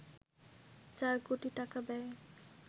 চার কোটি টাকা ব্যয়ে